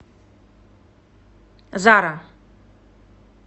зара